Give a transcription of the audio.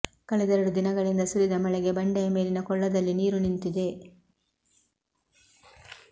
ಕಳೆದೆರಡು ದಿನಗಳಿಂದ ಸುರಿದ ಮಳೆಗೆ ಬಂಡೆಯ ಮೇಲಿನ ಕೊಳ್ಳದಲ್ಲಿ ನೀರು ನಿಂತಿದೆ